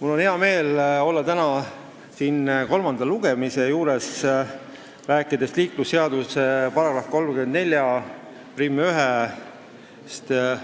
Mul on hea meel olla täna siin kolmanda lugemise juures ja rääkida liiklusseaduse §-st 341,